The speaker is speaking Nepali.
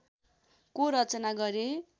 को रचना गरे